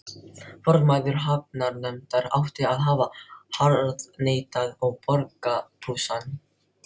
Formaður hafnarnefndar átti að hafa harðneitað að borga brúsann.